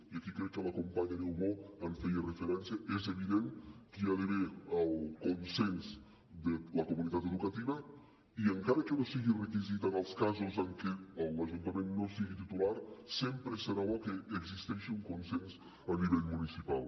i aquí crec que la companya niubó hi feia referència és evident que hi ha d’haver el consens de la comunitat educativa i encara que no sigui requisit en els casos en què l’ajuntament no en sigui titular sempre serà bo que existeixi un consens a nivell municipal